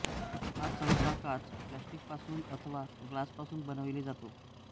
हा सहसा काच प्लॅस्टिकपासून अथवा ग्लास पासून बनविला जातो